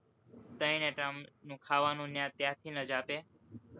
ત્રણેય time નું ખાવાનું ત્યાંથી જ આપે,